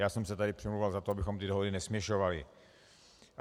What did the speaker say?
Já jsem se tady přimlouval za to, abychom ty dohody nesměšovali.